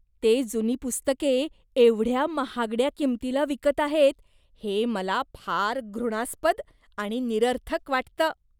ते जुनी पुस्तके एवढ्या महागड्या किंमतीला विकत आहेत हे मला फार घृणास्पद आणि निरर्थक वाटतं.